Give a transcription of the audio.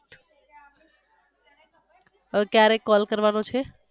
હવે ક્યારે call કરવાનો છે?